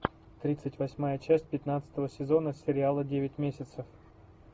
тридцать восьмая часть пятнадцатого сезона сериала девять месяцев